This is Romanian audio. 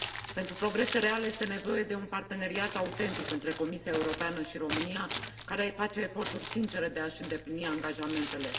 Pentru progrese reale, este nevoie de un parteneriat autentic între Comisia Europeană și România, care face eforturi sincere de a și îndeplini angajamentele.